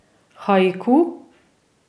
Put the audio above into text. Haiku?